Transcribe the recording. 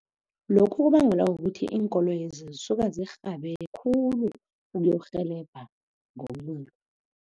Lokhu kubangelwa kukuthi iinkoloyi lezi zisuka zirhabe khulu uyokurhelebha